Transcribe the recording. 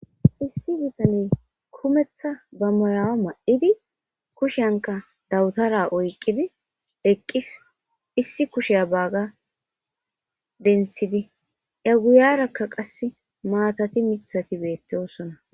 Issi bitaney kumetha ba miyuwa ma7idi kushinkka badabtara oyqqidi eqqis. Issi kushiya baaga denthidi iyaguyaarakka qassi maatati mithati beettoosona.